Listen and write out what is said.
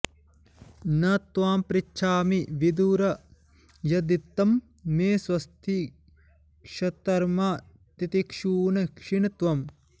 न त्वां पृच्छामि विदुर यद्धितं मे स्वस्ति क्षत्तर्मा तितिक्षून् क्षिण् त्वम्